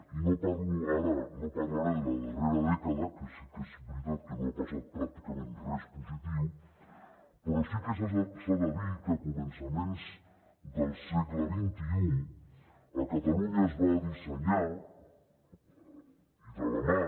i no parlo ara no parlaré de la darrera dècada que sí que és veritat que no ha passat pràcticament res positiu però sí que s’ha de dir que a començaments del segle xxi a catalunya es va dissenyar i de la mà